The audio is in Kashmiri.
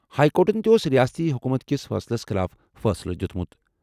ہائی کورٹَن تہِ اوس رِیاستی حکوٗمت کِس فٲصلَس خٕلاف فٲصلہٕ دِیُتمُت۔